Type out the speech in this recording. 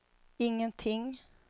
ingenting